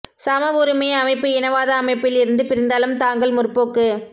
சம உரிமை அமைப்பு இனவாத அமைப்பில் இருந்து பிரிந்தாலும் தாங்கள் முற்போக்கு